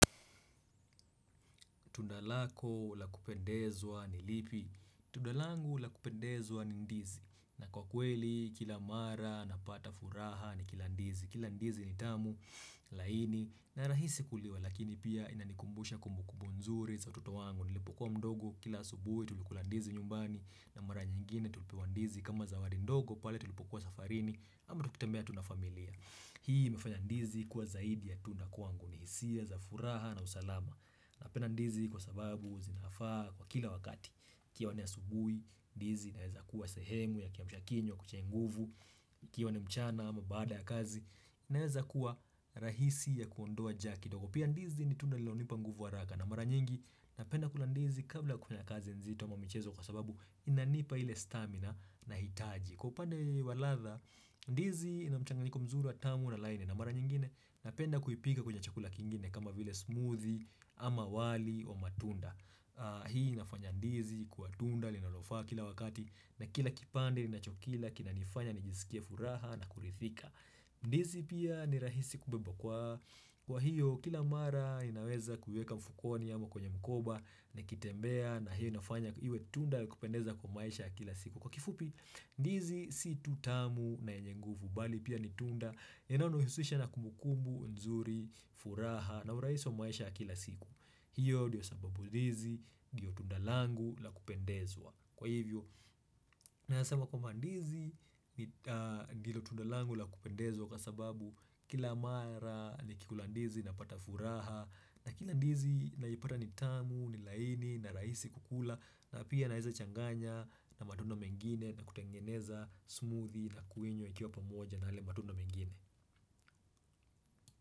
Tundalako lakupendezwa nilipi Tundalangu lakupendezwa nindizi na kwa kweli kila mara napata furaha ni kila ndizi Kila ndizi nitamu laini na rahisi kuliwa Lakini pia inanikumbusha kumbukumbu nzuri za ututo wangu Nilipokuwa mdogo kila asubuhi tulikulandizi nyumbani na mara nyingine tulipewa ndizi kama zawadi ndogo pale tulipokuwa safarini Ama tukitambea tuna familia Hii imefanya ndizi kuwa zaidi ya tunda kuangu Nihisia za furaha na usalama Napenda ndizi kwa sababu zinafaa kwa kila wakati ikiwa asubuih, ndizi inaeza kuwa sehemu ya kiamsha kinywa ya kuchenguvu ikiwa ni mchana ama baada ya kazi Naeza kuwa rahisi ya kuondoa njaa kidogo Pia ndizi ni tunda lilonipa nguvu wa hsraka na mara nyingi napenda kula ndizi kabla kunya kazi nzito mamichezo kwa sababu Inanipa ile stamina na hitaji kwa upande waladha, ndizi inamchanganyiko mzuri wa tamu na laini na mara nyingine napenda kuipika kwenye chakula kingine kama vile smoothie ama wali matunda Hii inafanya ndizi kuwa tunda linalofaa kila wakati na kila kipande ninachokila kina nifanya nijisikia furaha na kuridhika ndizi pia ni rahisi kubebwa kwa hiyo kila mara inaweza kuiweka mfukoni ama kwenye mkoba Nikitembea na hiyo nafanya iwe tunda kupendeza kwa maisha kila siku Kwa kifupi ndizi si tutamu na yenyenguvu bali pia ni tunda, inaonuhusisha na kumbukumbu, nzuri, furaha na urahiio maisha kila siku. Hiyo ndiyo sababu ndizi, ndiyo tunda langu la kupendezwa. Kwa hivyo, nasema kuwa ndizi, ndiyo tunda langu la kupendezwa kwa sababu kila mara ni kikulandizi napata furaha. Na kila ndizi naipata ni tamu, ni laini, na rahisi kukula. Na pia naweza changanya na matunda mengine na kutengeneza smoothi na kuinywa ikiwa pamoja na yale matunda mengine.